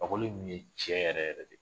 Fakoli kun ye cɛ yɛrɛ yɛrɛ de